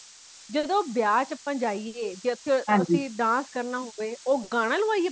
ਜਦੋ ਬਿਆ ਵਿਚ ਅੱਪਾ ਜਾਇਏ ਜਦ ਤੁਸੀਂ dance ਕਰਨਾ ਹੋਈਏ ਉਹ ਗਾਣਾ ਲਵਾਈਏ